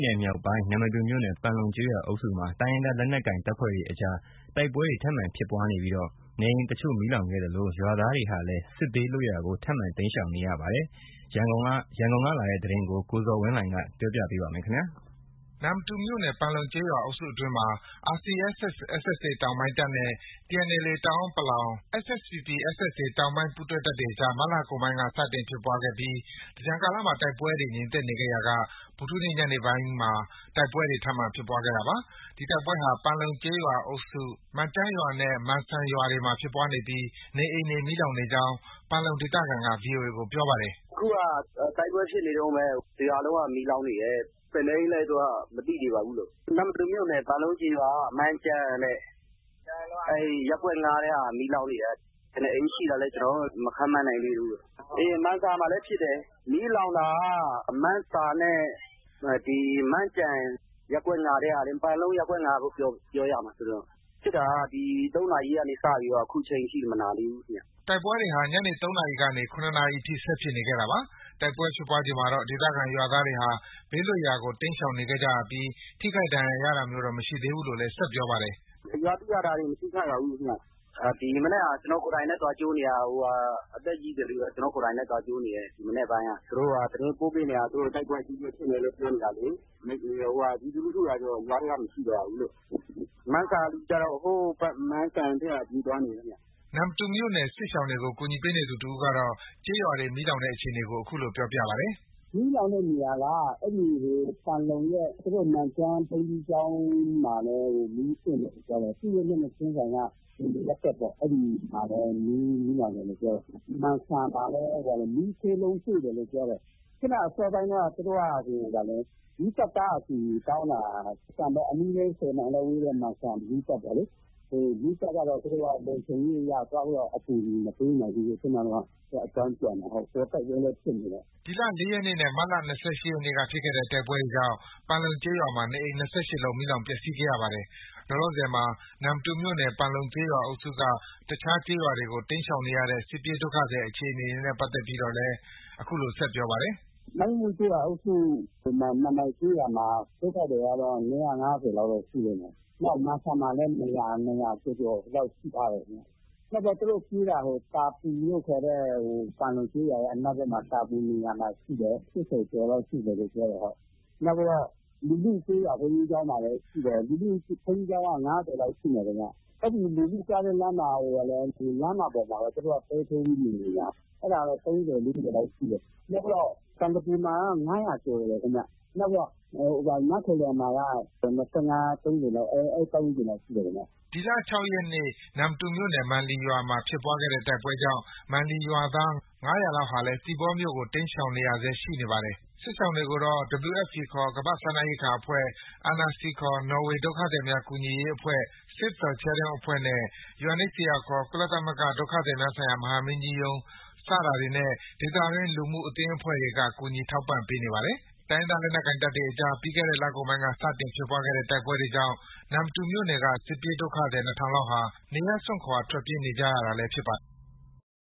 နယ်မြောက်ပိုင်း နမ္မတူမြို့နယ် ပန်လုံကျေးရွာအုပ်စုမှာ တိုင်းရင်းသားလက်နက်ကိုင်တပ်ဖွဲ့တွေအကြား တိုက်ပွဲတွေထပ်မံဖြစ်ပွားနေပြီး နေအိမ်တချို့မီးလောင်ခဲ့သလို ရွာသားတွေဟာလည်း စစ်ဘေးလွတ်ရာကို ထပ်မံ တိမ်းရှောင်နေရပါတယ်။ ဒီအကြောင်း ရန်ကုန်ကလာတဲ့သတင်းကို ကိုဇော်ဝင်းလှိုင်က တင်ြပေပးပါမယ်။ နမ္မတူမြို့နယ် ၊ ပန်လုံကျေးရွာအုပ်စုအတွင်းမှာ RCSS/SSA တောင်ပိုင်းတပ်နဲ့ TNLA တအန်း ၊ SSPP/SSA မြောက်ပိုင်း ပူးတပ်တွေအကြား မတ်လကုန်ပိုင်း စတင်ဖြစ်ခဲ့ပြီး သင်္ကြန်ကာလမှာ တိုက်ပွဲတွေ ငြိမ်သက်နေခဲ့ရာက ဗုဒ္ဓဟူးနေ့ ညနေခင်းပိုင်းမှာ တိုက်ပွဲတွေ ထပ်မံဖြစ်ပွားခဲ့တာပါ။ ဒီတိုက်ပွဲဟာ ပန်လုံကျေးရွာအုပ်စု မန်ကျန်းရွာနဲ့ မန်ဆာရွာတွေမှာ ဖြစ်ပွားနေပြီး နေအိမ်တွေ မီးလောင်နေကြောင်း ပန်လုံဒေသခံက VOA ကို အခုလို ပြောပါတယ်။ “ အခုက တိုက်ပွဲဖြစ်ပွားနေတုန်းပဲ။ တစ်ရွာလုံးက မီးလောင်နေတယ်။ ဘယ်နှစ်အိမ်လဲ ဆိုတာ မသိသေးပါဘူး။ နမ္မတူမြို့နယ် ပန်လုံကျေးရွာက မန်ကျန်း။ အဲဒီ ရပ်ကွက် ၅ထဲက မီးလောင်နေတယ်။ ဘယ်နှစ်အိမ်ရှိတာလဲ ကျနော်တို့ မခန့်မှန်းနိုင်သေးဘူး။ မန်ဆာမှာလည်း ဖြစ်တယ်။ မီးလောင်တာက မန်းဆာနဲ့ ဒီ မန်ကျန်း။ ဒီ ရပ်ကွက် ၅၊ ပန်လုံရပ်ကွက် ၅လို့ ပြောရမှာ။ဖြစ်တာက ဒီ ၃နာရီကနေ ခုချိန်ထိ မနားသေးဘူး။” တိုက်ပွဲတွေဟာ ညနေ၃နာရီကနေ ၇နာရီထိ ဆက်လက်ဖြစ်နေခဲ့တာပါ။ တိုက်ပွဲဖြစ်ပွားချိန်မှာတော့ ဒေသခံရွာသူရွာသားတွေဟာ ဘေးလွတ်ရာကို တိမ်းရှောင်နေခဲ့ကြပြီး ထိခိုက် ဒဏ်ရာရတာမျိုးတော့ မရှိဘူးလို့လည်း ဆက်ပြောပါတယ်။ “ ရွာသူ ရွာသားတွေ မထိခိုက်ပါဘူးခင်ဗျ။ ဒီမနက်က ကျနော်ကိုယ်တိုင်ပဲ သွားကြိုနေတာ။ အသက်ကြီးသူတွေကို ကျနော်ကိုယ်တိုင်ပဲ သွားကြိုနေတယ်။ ဒီမနက်ပိုင်းက ။ သူတို့ က သတင်းပေးပို့နေတယ်။ တိုက်ပွဲအကြီးကြီးဖြစ်မယ်လို့ ပြောနေတာလေ။ ပြည်သူလူထုကတော့ ရွာထဲမှာ မရှိတော့ဘူးလို့။ မန်ဆာလူကျတော့ ဟိုးဘက် မန်စံဘက် ပြေးသွားနေပြီ။” နမ္မတူမြို့နယ် စစ်ရှောင်တွေကို ကူညီပေးနေသူတစ်ဦးကတော့ ကျေးရွာတွေ မီးလောင်တဲ့အခြေအနေကို အခုလို ပြောပါတယ်။ “ မီးလောင်တဲ့နေရာက ပန်လုံရဲ့ မန်ကျန်းဘုန်းကြီးကျောင်းမှာလည်း မီးသင့်တယ်ပြောတယ်။ သူရဲ့ မျက်နှာချင်းဆိုင်က လူနေရပ်ကွက်ပေါ့။ အဲဒီမှာလည်း မီးလောင်တယ်လို့ ပြောတယ်။ မန်ဆာမှာလည်း မီးခိုးလုံးတွေ့တယ်လို့ ပြောတယ်။ အခုက အစောပိုင်းတုံးက သူတို့က မီးသတ်ကားအကူအညီတောင်းတာ။ မန်စံပေါ့ အနီးဆုံး ၁၀မိုင်လောက် ဝေးတဲ့ မန်စံမီးသတ်ကိုလေ။ မီးသတ်ကတော့ သူတို့ လုံခြုံရေးအရ သွားပြီးတော့ အကူအညီ မပေးနိုင်ဘူးလို့ အကြောင်းပြန်တယ်။ တိုက်ပွဲလည်း ဖြစ်နေတော့။” ဒီလ ၄ရက်နေ့နဲ့ မတ်လ ၂၈ရက်နေ့က ဖြစ်ခဲ့တဲ့ တိုက်ပွဲတွေကြောင့် ပန်လုံကျေးရွာမှာ နေအိမ် ၂၈လုံးမီးလောင် ပျက်ဆီးခဲ့ရပါတယ်။ လောလောဆည်မှာ နမ္မတူမြို့နယ် ပန်လုံကျေးရွာအုပ်စုက အခြားကျေးရွာတွေကို တိမ်းရှောင်နေရတဲ့ စစ်ပြေးဒုက္ခသည်တွေအခြေအနေနဲ့ပတ်သက်ပြီးလည်း အခုလို ပြောပါတယ်။ “ မိုင်းမုကျေးရွာအုပ်စု မန်မိုင်ကျေးရွာမှာ ဒုက္ခသည်ကတော့ ၂၅၀ လောက်ရှိလိမ့်မယ်။ နောက် မန်စံမှာလည်း ၂၀၀ ကျော်ကျော်လောက် ရှိထားတယ်။ နောက်ပြီး သူတို့ ပြေးတာက တာပူလို့ ခေါ်တဲ့၊ ပန်လုံကျေးရွာရဲ့ အနောက်ဘက် တာပူနေရာမှာ ရှိတယ်။ ၈၀ကျော်လောက်ရှိမယ်ပြောတယ်။ နောက်ပြီးတော့ လူလုကျေးရွာမှာလည်း ရှိတယ်။ လူလုဘုန်းကြီးကျောင်းက ၅၀လောက်ရှိမယ်ခင်ဗျ။ အဲဒီ လူလုသွားတဲ့ လမ်းမပေါ်မှာပဲ သူတို့က တဲထိုးပြီးနေ နေတာ အဲဒါကတော့ ၃၀- ၄၀လောက်ရှိတယ်။ နောက်ပြီးတော့ ပန်သပြေမှာက ၅၀၀ကျော်တယ်ခင်ဗျ။နောက်ပြီးတော့ နားခိုလျံမှာက ၂၅- ၃၀ အဲဒီပတ်ဝန်းကျင်လောက်ရှိတယ်။ ” ဒီလ ၆ရက်နေ့ နမ္မတူမြို့နယ် မန်လီရွာမှာ ဖြစ်ပွားတဲ့တိုက်ပွဲကြောင့် မန်လီရွာသား ၅၀၀လောက်ဟာလည်း သီပေါမြို့ကို တိမ်းရှောင်နေရဆဲရှိနေပါတယ်။ စစ်ရှောင်တွေကိုတော့ WFPခေါ် ကမ္ဘာစားနပ်ရိက္ခာအဖွဲ့ ၊ NRC ခေါ် နော်ေ၀ ဒုက္ခသည်များ ကူညီရေး အဖွဲ့၊ Save the Children အဖွဲ့ နဲ့ UNHCR ခေါ် ကုလသမဂ္ဂ ဒုက္ခသည်များဆိုင်ရာ မဟာမင်းကြီးရုံး စတာတွေနဲ့ ဒေသတွင်း လူမှုအသင်းအဖွဲ့တွေက ကူညီထောက်ပံ့ပေးနေပါတယ်။ တိုင်းရင်းသားလက်နက်ကိုင်တွေအကြား ပြီးခဲ့တဲ့ လကုန်ပိုင်းက စတင်ဖြစ်ခဲ့တဲ့ တိုက်ပွဲတွေကြောင့် နမ္မတူမြို့နယ်က စစ်ပြေးဒုက္ခသည် ၂၀၀၀ လောက်ဟာ နေရပ်စွန့်ခွာ ထွက်ပြေးနေကြပါတာလည်း ဖြစ်ပါတယ်။